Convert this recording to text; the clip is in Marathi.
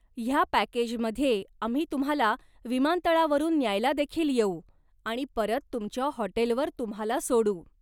ह्या पॅकेजमध्ये आम्ही तुम्हाला विमानतळावरून न्यायला देखील येऊ आणि परत तुमच्या हॉटेलवर तुम्हाला सोडू.